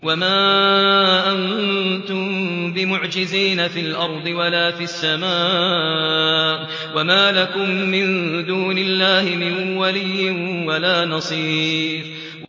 وَمَا أَنتُم بِمُعْجِزِينَ فِي الْأَرْضِ وَلَا فِي السَّمَاءِ ۖ وَمَا لَكُم مِّن دُونِ اللَّهِ مِن وَلِيٍّ وَلَا نَصِيرٍ